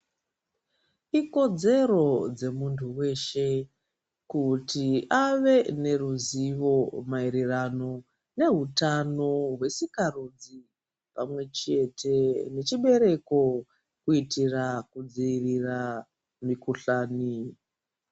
Ikodzero dzemuntu weshe kuti ave neruzivo maererano neutano hwesikarudzi pamwe chete nechibereko kuitira kudzivirira mukuhlani.